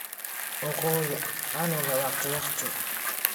Uu Quudi canuga wakhti wakhti.